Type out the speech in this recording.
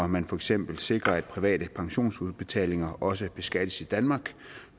man for eksempel sikrer at private pensionsudbetalinger også beskattes i danmark